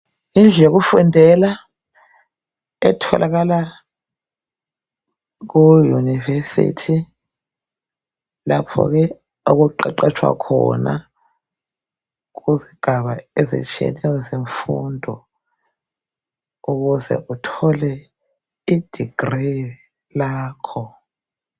Yindlu yokufundela etholakala eyunivesithi lapho ke okuqeqetshwa khona kuzigaba ezitshiyeneyo zemfundo ukuze uthole idigili lakho.